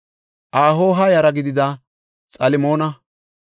Ahoha yara gidida Xalmoona,